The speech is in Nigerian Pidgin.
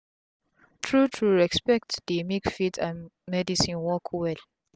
tru tru respect dey make faith and medicine work well